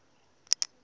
magoda